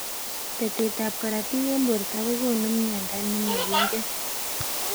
Betet ab karotik eng borto kokonu mnyendo nemakingen.